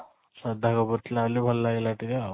ଶ୍ରଦ୍ଧା କପୂର ଥିଲା ବୋଲି ଭଲ ଲାଗିଲା ଟିକେ ଆଉ